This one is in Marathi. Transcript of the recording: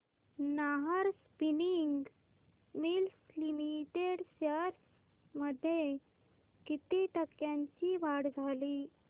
Nahar Spinning Mills Limited shares मध्ये किती टक्क्यांची वाढ झाली